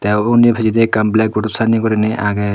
te ubon hi pijedi ekkan blackboard sannei gurinei aage.